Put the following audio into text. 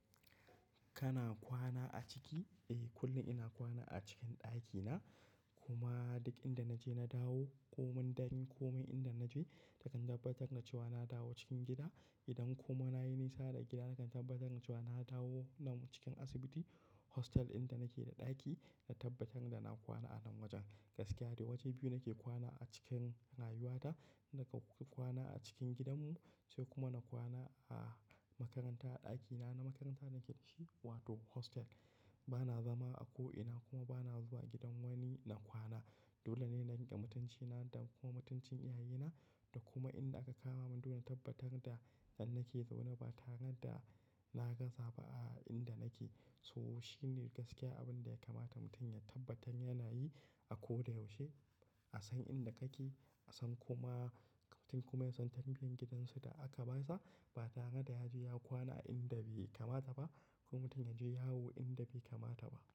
Kana kwana a ciki? Eh, kullum ina kwana a cikin ɗakina. Kuma duk inda naje na dawo, komai dare komin inda naje na tabbatar da cewa na dawo cikin gida. Idan kuma nayi nisa daga gida nakan tabbatar da cewa na dawo nan cikin asibiti hostel inda nake da ɗaki na tabbatar da na kwana a nan wajen. Gaskiya dai waje biyu nake kwana a cikin rayuwata, inda ka kwana a cikin gidanmu sai kuma na kwana a makaranta a ɗakina na makaranta nake dashi wato hostel. Bana zama a ko ina kuma bana zuwa gidan wani na kwana. Dole ne na riƙe mutancina da kuma mutuncin iyayena da kuma inda aka kama mun. Dole tabbatar da nan nake zaune ba tare da na gaza ba a inda nake. So shine gaskiya abin da ya kamata mutum ya tabbatar yana yi a koda yaushe, a san inda kake, a san kuma mutum kuma yasan tarbiyan gidansu da aka basa ba tare da ya je ya kwana a inda bai kamata ba ko mutum ya je yawo inda bai kamata ba.